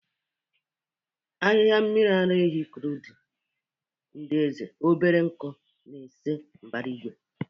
Ahihia mmiri ara ehi kridul ndị eze, obere nku na-ese mbara igwe.